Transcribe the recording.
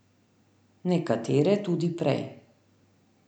Nekatere tudi prej.